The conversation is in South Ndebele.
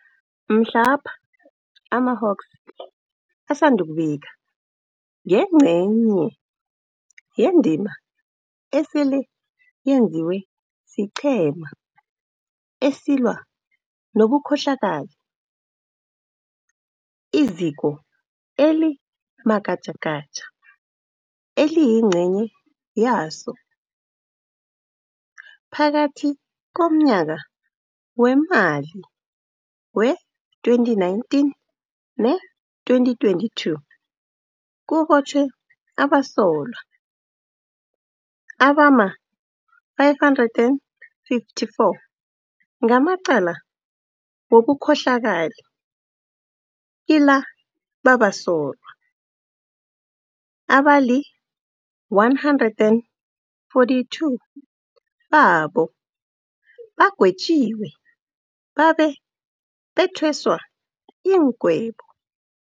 Mhlapha amaHawks asandukubika ngengce nye yendima esele yenziwe siQhema esiLwa nobuKhohlakali, iZiko eli maGatjagatja eliyingcenye yaso. Phakathi komnyaka weemali wee-2019 nee2022 kubotjhwe abasolwa abama-554 ngamacala wobukhohlakali, kila babasolwa, abali-142 babo bagwetjiwe babe bethweswa iingwebo.